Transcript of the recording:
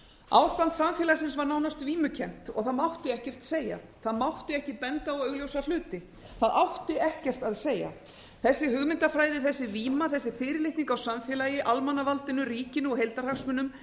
ástand samfélagsins var nánast vímukennt og það mátti ekkert segja það mátti ekki benda á augljósa hluti það átti ekkert að segja þessi hugmyndafræði þessi víma þessi fyrirlitning á samfélagi almannavaldinu ríkinu og heildarhagsmunum